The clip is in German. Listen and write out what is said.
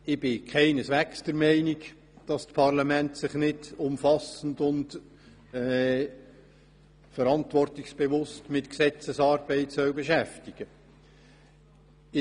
Ich bin keineswegs der Meinung, dass sich das Parlament nicht umfassend und verantwortungsbewusst mit Gesetzesarbeit beschäftigen soll.